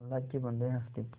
अल्लाह के बन्दे हंस दे